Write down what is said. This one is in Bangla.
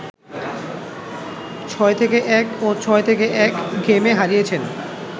৬-১ ও ৬-১ গেমে হারিয়েছেন